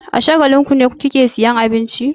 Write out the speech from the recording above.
A Shagalinku ne kike sayan abinci?